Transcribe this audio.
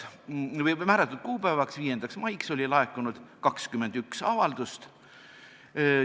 Määratud kuupäevaks, 5. maiks oli laekunud 21 avaldust.